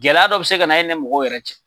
Gɛlɛya dɔ bɛ se ka na e ni mɔgɔw yɛrɛ cɛ!